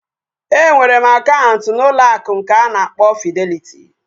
Enwere m akaụntụ n'ụlọ akụ nke nke a na-akpọ Fideliti